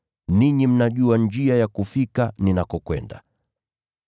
Ninyi mnajua njia ya kufika ninakokwenda.”